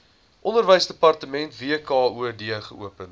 onderwysdepartement wkod geopen